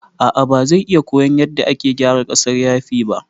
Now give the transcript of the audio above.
A'a bazai iya koyan yadda ake gyara ƙasar yafi ba